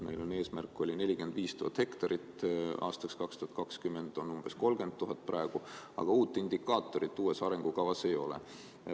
Meil oli aastaks 2020 eesmärk 45 000 hektarit, praegu on umbes 30 000 hektarit, aga uut indikaatorit uues arengukavas ei ole.